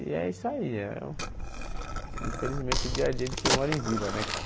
E é isso aí, infelizmente o dia a dia de quem mora em vila, né, cara?